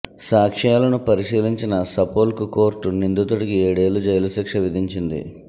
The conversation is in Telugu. సాక్ష్యాలను పరిశీలించిన సపోల్క్ కోర్టు నిందితుడికి ఏడేళ్ల జైలు శిక్ష విధించింది